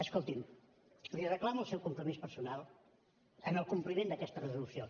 escolti’m li reclamo el seu compromís personal en el compliment d’aquesta resolució